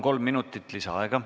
Kolm minutit lisaaega.